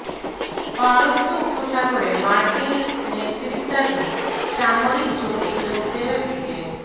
পারস্য উপসাগরে মার্কিন নেতৃত্বাধীন সামরিক জোটে যোগ দেবে ব্রিটেন